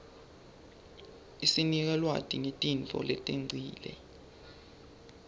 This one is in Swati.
isinika lwati ngetintfo letengcile